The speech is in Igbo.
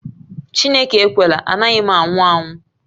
Chineke ekwela, anaghị m anwụ anwụ